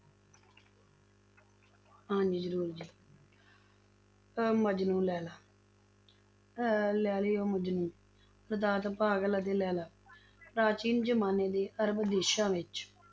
ਹਾਂਜੀ ਜ਼ਰੂਰ ਜੀ ਅਹ ਮਜਨੂੰ ਲੈਲਾ ਅਹ ਲੈਲਾ ਮਜਨੂੰ ਲੈਲਾ ਪ੍ਰਾਚੀਨ ਜ਼ਮਾਨੇ ਦੇ ਅਰਬ ਦੇਸ਼ਾਂ ਵਿੱਚ